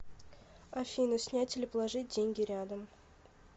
афина снять или положить деньги рядом